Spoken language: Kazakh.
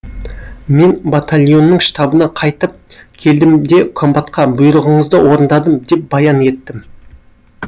мен батальонның штабына қайтып келдім де комбатқа бұйрығыңызды орындадым деп баян еттім